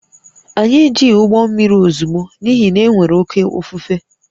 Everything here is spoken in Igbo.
Anyị ejighị ụgbọ mmiri ozugbo n’ihi na e nwere oké ifufe